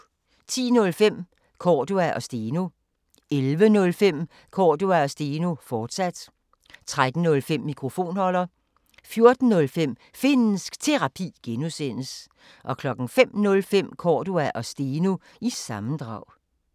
10:05: Cordua & Steno 11:05: Cordua & Steno, fortsat 13:05: Mikrofonholder 14:05: Finnsk Terapi (G) 05:05: Cordua & Steno – sammendrag